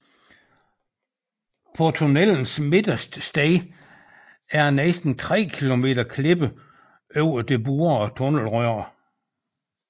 På tunnelens midterste sted er der næsten 3 kilometer klippe over det borede tunnelrør